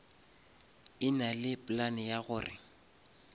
e nale plan ya gore